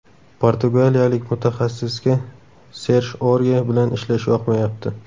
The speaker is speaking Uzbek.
Portugaliyalik mutaxassisga Serj Orye bilan ishlash yoqmayapti.